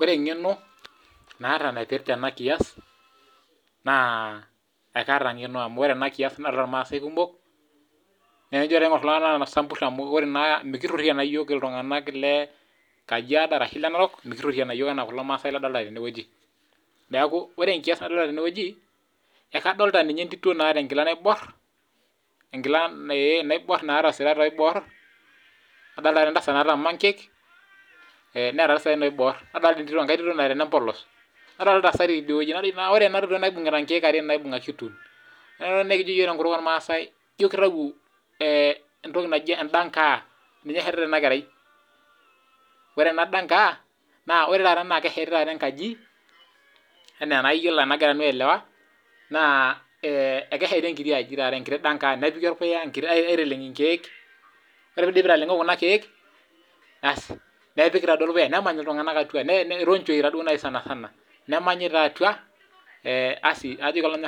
Ore eng'eno naata naipirta ena kias naa ekaata engeno amu ore ena kias naa ilmaasai kumok naa tenijo aingur iltunganak ore isambur naa mikirhorhiana naa yiok iltunganak le Kajiado ashu Narok enaa kulo maasai ladolita tenewueji neeku ore engias nadolita tenewueji naa kadolita ninye endito naata engila naibor naata isirat oibor nadolita entasat naata mankek neeta isaen oibor nadolita enkai tito nateena embolos Ore ena tito naibungita ingiek ashu tool naa kijo yiok tenkutuk olmaasai ijo kitawuo endangaa Ore ena dangaa naa kesheti taata enkaji ena enagira nanu aelewa naa ekesheti engiti aji enkiti dang aa nepiki aiteleng' ingiek ore piidipi aitalengo kuna kiek ass nepiki olpuya nemany iltunganak atua taaduo naai sanasana nemanyi taa atua eeh asi netoni